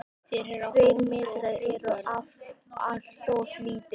Tveir metrar eru alltof lítið.